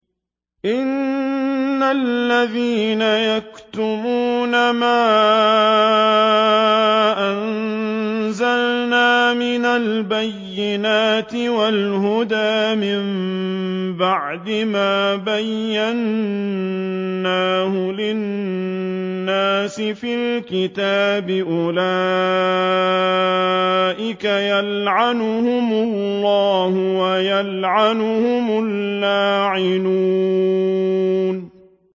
إِنَّ الَّذِينَ يَكْتُمُونَ مَا أَنزَلْنَا مِنَ الْبَيِّنَاتِ وَالْهُدَىٰ مِن بَعْدِ مَا بَيَّنَّاهُ لِلنَّاسِ فِي الْكِتَابِ ۙ أُولَٰئِكَ يَلْعَنُهُمُ اللَّهُ وَيَلْعَنُهُمُ اللَّاعِنُونَ